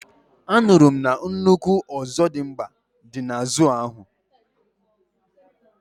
anuru m na nnukwu Ozodimgba di na zoo ahu